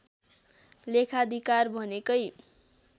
लेखाधिकार भनेकै